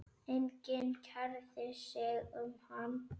Gætirðu ekki farið í megrun?